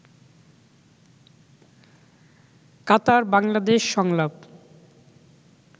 কাতার বাংলাদেশ সংলাপ